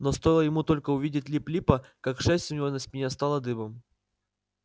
но стоило ему только увидеть лип липа как шерсть у него на спине встала дыбом